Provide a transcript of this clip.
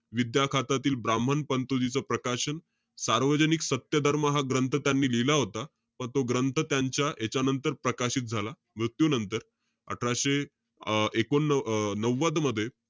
विद्या खातातील ब्राम्हण पंतोजीच प्रकाशन, सार्वजनिक सत्य दर महाग हा ग्रंथ त्यांनी लिहिला होता. तो ग्रंथ त्यांच्या यांच्यानंतर प्रकाशित झाला, मृत्यूनंतर. अठराशे अं एकोण अं नव्वद मध्ये.